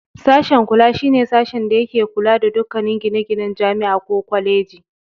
Sashe Kula shi ne sashen da yake kula da dukkanin gine-ginen Jami'a ko Kwaleji.